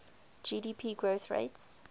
gdp growth rates